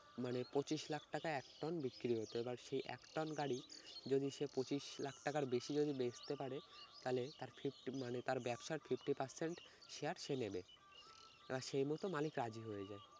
মানে পঁচিশ লাখ টাকায় এক টন বিক্রি হতো এবার সেই এক টন গাড়ি যদি সে পঁচিশ লাখ টাকার বেশি যদি বেচতে পারে তাইলে তার fifty মানে তার ব্যবসার fifty percent share সে নেবে। আর সেই মত মালিক রাজি হয়ে যায়।